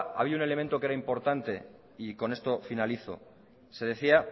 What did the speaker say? hay un elemento que era importante y con esto finalizo se decía